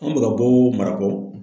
Anw mi ka bɔ marako